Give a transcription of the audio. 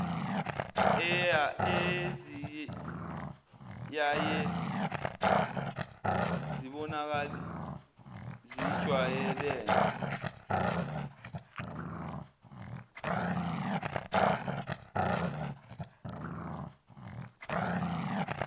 eziyaye zibonakale zijwayelene